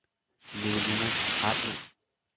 Nicoline Hartmann